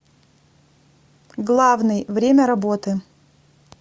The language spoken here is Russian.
главный время работы